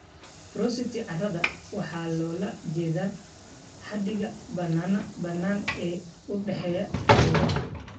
Porosity carrada waxaa loola jeedaa xadiga bannaan ee u dhexeeya qaybaha.